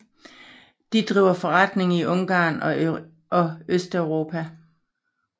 De driver forretning i Ungarn og Østeuropa